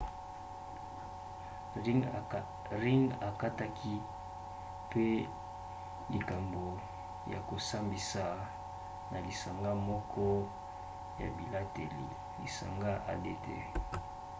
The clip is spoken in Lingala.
ring ekataki mpe likambo ya kosambisa na lisanga moko ya libateli lisanga adt